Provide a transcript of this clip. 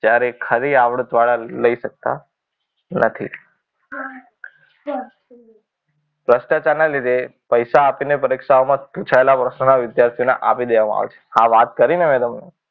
જ્યારે ખરી આવડતવાળા લઈ શકતા નથી. ભ્રષ્ટાચાર ના લીધે પૈસા આપીને પરીક્ષાઓમાં પુછાયેલા પ્રશ્નોના વિદ્યાર્થીને આપી દેવામાં આવે છે આ વાત કરીને મેં તમને.